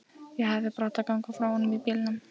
Ég hefði bara átt að ganga frá honum í bílnum.